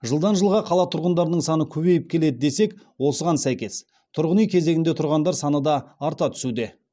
жылдан жылға қала тұрғындарының саны көбейіп келеді десек осыған сәйкес тұрғын үй кезегінде тұрғандар саны да арта түсуде